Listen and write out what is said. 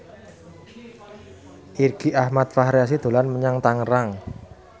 Irgi Ahmad Fahrezi dolan menyang Tangerang